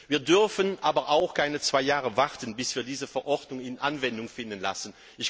Wir dürfen aber keine zwei Jahre warten, bis wir diese Verordnung zur Anwendung kommen lassen.